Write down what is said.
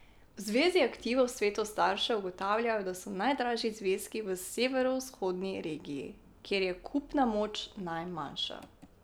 V zvezi aktivov svetov staršev ugotavljajo, da so najdražji zvezki v severovzhodni regiji, kjer je kupna moč najmanjša.